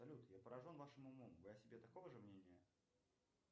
салют я поражен вашим умом вы о себе такого же мнения